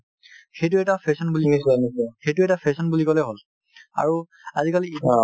সেইটো এটা fashion বুলি সেইটো এটা fashion বুলি ক'লে হ'ল আৰু আজিকালি